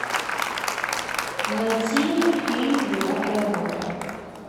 найти фильм девятая рота